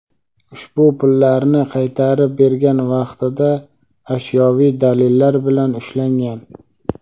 ushbu pullarni qaytarib bergan vaqtida ashyoviy dalillar bilan ushlangan.